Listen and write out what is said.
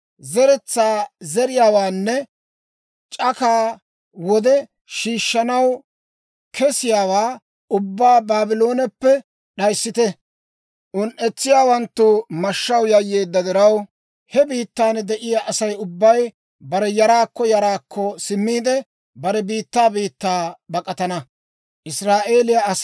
Zeretsaa zeriyaawaanne c'akaa wode shiishshanaw kesiyaawaa ubbaa Baablooneppe d'ayissite. Un"etsiyaawanttu mashshaw yayyeedda diraw, he biittan de'iyaa Asay ubbay bare yaraakko yaraakko simmiide, bare biittaa biittaa bak'atana.